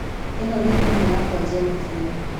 ĩno nĩ thimũ yakwa njerũ biũ.